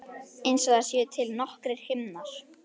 Og einsog það séu til nokkrir himnar.